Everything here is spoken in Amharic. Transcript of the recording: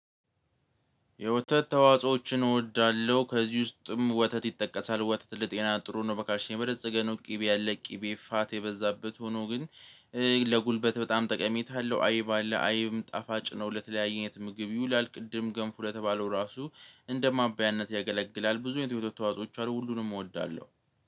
የወተት ተዋጾዎችን እወዳለሁ። ከዚህ ውስጥም ወተት ይጠቀሳል። ወተት ለጤና ጥሩ ነው በካልሽየም የበለፀገ ነው። ቅቤ ያለ ቅቤ ፋት የበዛበት ሆኖ ግን ለጉልበት በጣም ጠቀሜታ አለው። አይብ አለ አይብም ጣፋጭ ነው። ለተለያየ አይነት ምግብ ይውላል። ቅድም ገንፉ ለተባለው ራሱ እንደ ማባያነት ያገለግላል ብዙ አይነት የወተት ተዋጾዎች አሉ። ሁሉንም እወዳለሁ።